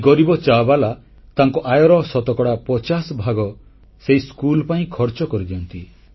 ଏଇ ଗରିବ ଚାବାଲା ତାଙ୍କ ଆୟର ଶତକଡ଼ା ପଚାଶଭାଗ ସେଇ ସ୍କୁଲ ପାଇଁ ଖର୍ଚ୍ଚକରି ଦିଅନ୍ତି